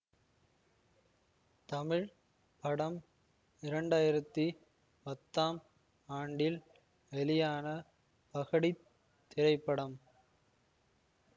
தமிழ் படம் இரண்டாயிரத்தி பத்தாம் ஆண்டில் வெளியான பகடித் திரைப்படம்